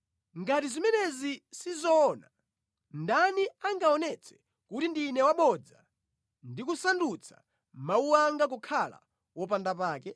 “Ngati zimenezi sizoona, ndani angaonetse kuti ndine wabodza ndi kusandutsa mawu anga kukhala wopanda pake?”